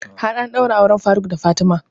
Har an ɗaura auren faruk da fatima